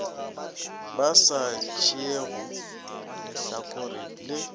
ba sa tšeego lehlakore le